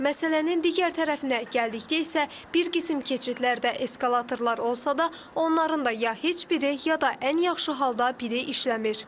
Məsələnin digər tərəfinə gəldikdə isə bir qisim keçidlərdə eskalatorlar olsa da, onların da ya heç biri, ya da ən yaxşı halda biri işləmir.